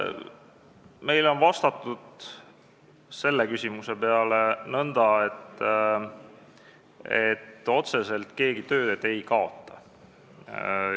Meile on selle küsimuse peale vastatud nõnda, et otseselt keegi tööd ei kaota.